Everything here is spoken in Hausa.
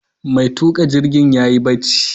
Mai tuƙa jirgin yayi barci